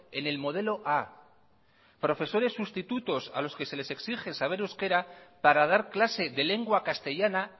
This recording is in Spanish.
en el modelo a profesores sustitutos a los que se les exige saber euskera para dar clase de lengua castellana